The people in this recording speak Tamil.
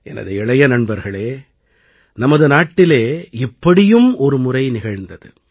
எனது இளைய நண்பர்களே நமது நாட்டிலே இப்படியும் ஒருமுறை நிகழ்ந்தது